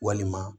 Walima